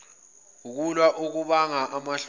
ukwehlulwa okubanga amahloni